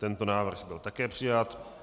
Tento návrh byl také přijat.